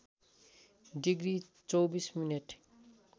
degree २४ minute